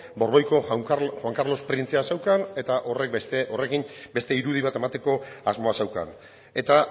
borboiko juan carlos printzea zeukan eta horrekin beste irudi bat emateko asmoa zeukan eta